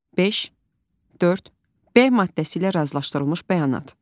5 4 B maddəsi ilə razılaşdırılmış bəyanat.